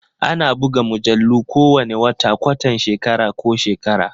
Ana buga mujallu kowane wata, kwatan shekara ko shekara.